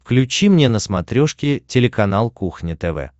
включи мне на смотрешке телеканал кухня тв